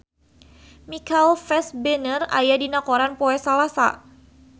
Michael Fassbender aya dina koran poe Salasa